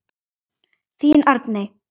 Þín Arney.